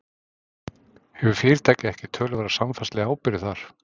Hefur fyrirtækið ekki töluverða samfélagslega ábyrgð þar?